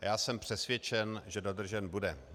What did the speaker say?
A já jsem přesvědčen, že dodržen bude.